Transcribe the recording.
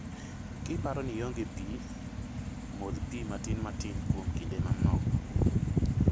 Kiparo ni ionge pii, modh pi matin matin kuom kinde manok